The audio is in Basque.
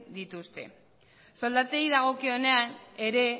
dituzte soldatei dagokionean ere